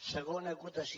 segona acotació